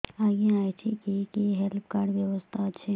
ଆଜ୍ଞା ଏଠି କି କି ହେଲ୍ଥ କାର୍ଡ ବ୍ୟବସ୍ଥା ଅଛି